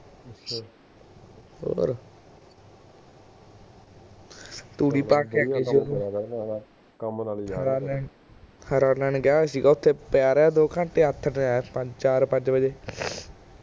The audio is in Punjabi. ਤੇ ਉੰਨਾ ਨੇ ਕਿਹਾ ਹੋਇਆ ਸੀ ਓਥੇ ਪੀਯਾ ਰਹਿ ਦੋ ਘੰਟੇ ਆਥਣ ਚਾਰ ਪੰਜ ਵਜੇ